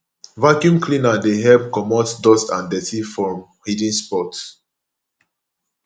vaccume cleaner dey help comot dust and dirty from hidden spots